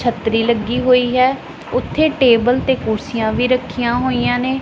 ਛੱਤਰੀ ਲੱਗੀ ਹੋਈ ਹੈ ਉੱਥੇ ਟੇਬਲ ਤੇ ਕੁਰਸੀਆਂ ਵੀ ਰੱਖੀਆਂ ਹੋਈਆਂ ਨੇਂ।